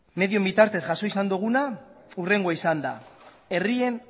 medioen bitartez jaso duguna hurrengoa izan da herrien